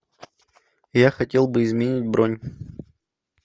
я хотел бы изменить бронь